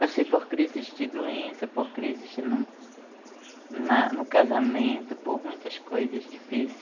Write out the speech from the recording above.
Passei por crises de doença, por crises no casamento, por muitas coisas difíceis.